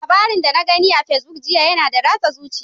Labarin da na gani a Facebook jiya yana da ratsa zuciya.